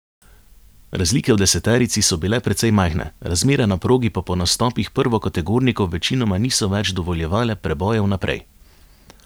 Razlike v deseterici so bile precej majhne, razmere na progi pa po nastopih prvokategornikov večinoma niso več dovoljevale prebojev naprej.